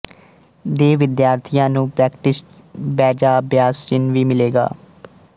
ਦੇ ਵਿਦਿਆਰਥੀਆਂ ਨੂੰ ਪ੍ਰੈਕਟਿਸਟ ਬੈਜਅਭਿਆਸ ਚਿੰਨ੍ਹ ਵੀ ਮਿਲੇਗਾ